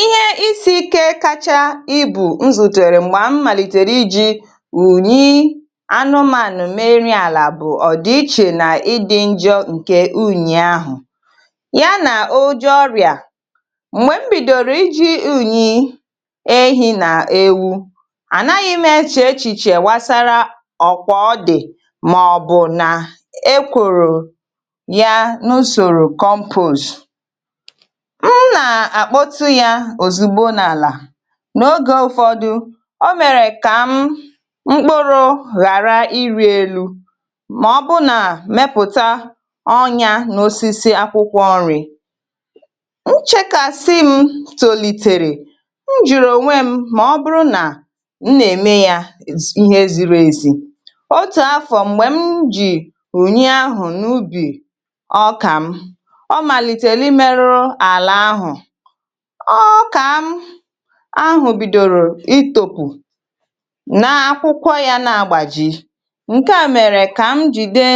Ihe isi ike kacha ibụ nzutere m̀gbè m̀màlịtẹ̀rẹ̀ iji ụ̀nyị anụmanụ mee nrị àlà bụ ọ̀dịchẹ̀ nà ịdị njọ ǹke ụnyị ahụ yà nà ojè ọrịà. M̀gbè m bìdọ̀rọ̀ iji ụnyị ehị nà ewu, ànaghị m echè echìchè wàsàrà ọ̀kwà ọ̀dị mà ọ bụ nà-èkwòrò yá n'usòrò compost. M n'ákpọ̀tụ̀ yá òzùgbọ n'álà n'ógè ụfọ̀dụ, ò mèrè kà m mkpụrụ ghàrà iri élụ mà ọ bụ nà mèpụ̀tà ọnyà n'ọsịsị akwụ̀kwọ ọrị. M chèkàsị m tòlịtẹ̀rẹ̀, m jùrụ̀ ọnwè m mà ọ bụrụ nà m nà-ème yá ihè ziri èzì. Ọtù àfọ m̀gbè m jì ụnyị ahụ n'ụbị ọkà m, ò m̀màlịtẹ̀lị mèrụ̀rụ àlà ahụ, ọkà m ahụ bìdọ̀rọ̀ ịtọ̀pụ̀ nà akwụ̀kwọ yá nà-àgbàjị ǹke à mèrè kà m jìde